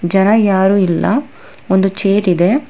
ಜನ ಯಾರು ಇಲ್ಲ ಒಂದು ಚೇರ್ ಇದೆ.